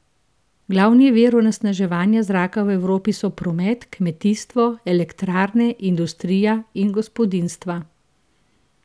Glavni viri onesnaževanja zraka v Evropi so promet, kmetijstvo, elektrarne, industrija in gospodinjstva.